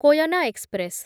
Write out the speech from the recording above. Koyna express